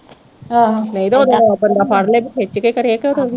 ਬੰਦਾ ਫੜਲੇ ਤੇ ਖਿੱਚ ਕੇ ਕਰੇ ਕਿ